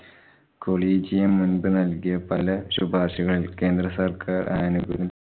collegium മുന്‍പ് നല്‍കിയ പല ശുപാര്‍ശകളില്‍ കേന്ദ്ര സര്‍ക്കാര്‍ ആനുകൂല്യം